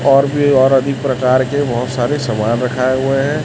और भी और अधिक प्रकार के बहोत सारे समान रखाए हुए हैं।